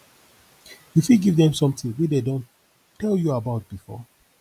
you fit give them something wey dem don tell you about before